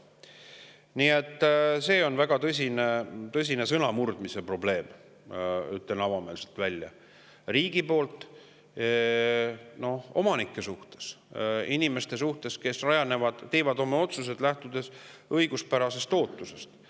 Nii et riigil on väga tõsine sõnamurdmise probleem, ütlen avameelselt välja, omanike, inimeste suhtes, kes teevad oma otsused, lähtudes õiguspärasest ootusest.